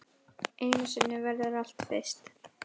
Einu sinni verður allt fyrst.